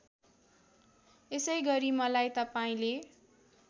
यसैगरी मलाई तपाईँले